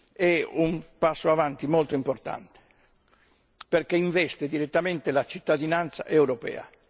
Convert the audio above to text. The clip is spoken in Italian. è un passo avanti molto importante perché investe direttamente la cittadinanza europea.